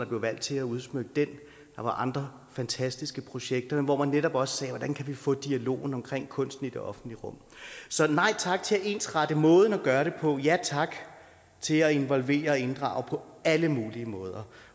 blev valgt til at udsmykke den der var andre fantastiske projekter hvor man netop også sagde hvordan kan vi få dialogen om kunsten i det offentlige rum så nej tak til at ensrette måden at gøre det på ja tak til at involvere og inddrage på alle mulige måder